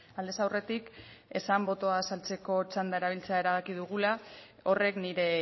aldez aurretik esan botoa azaltzeko txanda erabiltzea erabaki dugula horrek nire